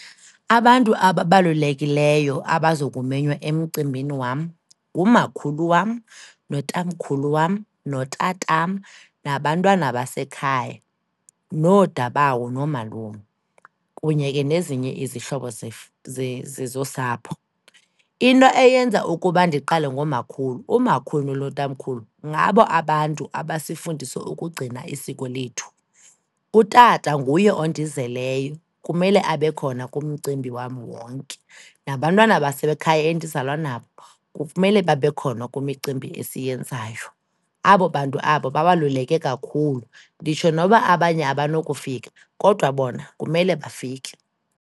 Abantu ababalulekileyo abaza kumenywa emcimbini wam, ngumakhulu wam notamkhulu wam, notatam nabantwana basekhaya, noodabawo noomalume kunye ke nezinye izihlobo zosapho. Into eyenza ukuba ndiqale ngomakhulu, umakhulu notamkhulu, ngabo abantu abasifundisa ukugcina isiko lethu. Utata nguye ondizeleyo, kumele abe khona kumcimbi wam wonke, nabantwana basekhaya endizalwa nabo kumele babe khona kwimicimbi esiyenzayo. Abo bantu abo babaluleke kakhulu, nditsho noba abanye abanokufika, kodwa bona kumele bafike.